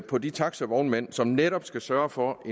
på de taxivognmænd som netop skal sørge for at